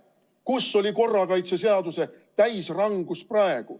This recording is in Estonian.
Kus oli korrakaitseseaduse täisrangus siis?